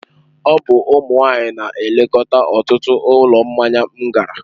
Ọ bụ ụmụ nwanyị na-elekọta ọtụtụ ụlọ mmanya m gara.